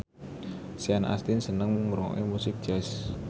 Sean Astin seneng ngrungokne musik jazz